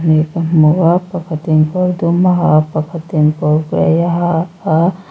hnih ka hmu a pakhatin kawr dum a ha a pakhatin kawr gray a ha a.